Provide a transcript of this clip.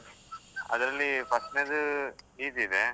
ಅದ್ರಲ್ಲಿ first ನೇದು easy ಇದೆ.